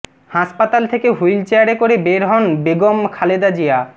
হাসপাতাল থেকে হুইল চেয়ারে করে বের হন বেগম খালেদা জিয়া